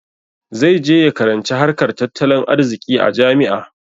Zai je ya karanci harkar tattalin arziƙi a jami'a.